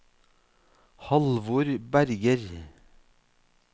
Halvor Berger